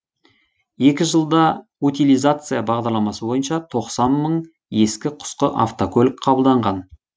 екі жылда утилизация бағдарламасы бойынша тоқсан мың ескі құсқы автокөлік қабылданған